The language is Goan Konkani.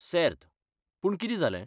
सेर्त, पूण कितें जालें?